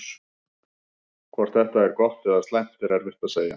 Hvort þetta er gott eða slæmt er erfitt að segja.